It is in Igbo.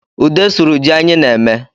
Ude sụrụ ji anyị na-eme